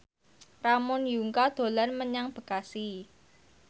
Ramon Yungka dolan menyang Bekasi